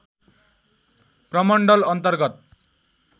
प्रमण्डल अन्तर्गत